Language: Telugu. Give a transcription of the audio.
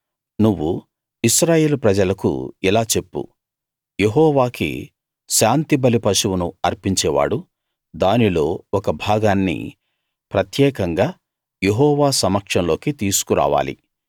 నువ్వు ఇశ్రాయేలు ప్రజలకు ఇలా చెప్పు యెహోవాకి శాంతిబలి పశువును అర్పించే వాడు దానిలో ఒక భాగాన్ని ప్రత్యేకంగా యెహోవా సమక్షంలోకి తీసుకురావాలి